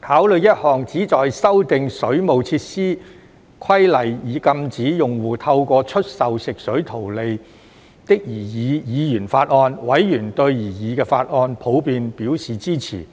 考慮一項旨在修訂《水務設施規例》以禁止用戶透過出售食水圖利的擬議議員法案，委員對擬議法案普遍表示支持。